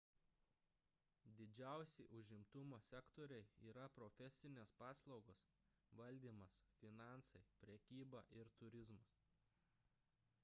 didžiausi užimtumo sektoriai yra profesinės paslaugos valdymas finansai prekyba ir turizmas